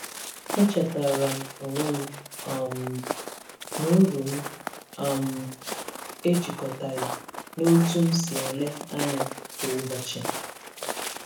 E chetaara m onwe m um na uru m um ejikọtaghị na otú m si ele anya kwa ụbọchị.